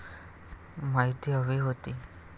माहिती हवी होती